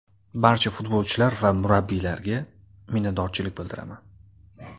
Barcha futbolchilar va murabbiylarga minnatdorchilik bildiraman.